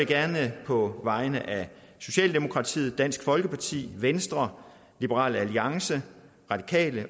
gerne på vegne af socialdemokratiet dansk folkeparti venstre liberal alliance radikale